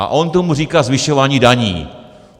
A on tomu říká zvyšování daní.